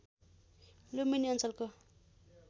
लुम्बिनी अञ्चलको